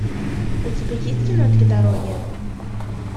у тебя есть кино три дороги